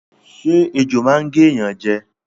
Ṣé ejò máa n gé ẹ̀yán jẹ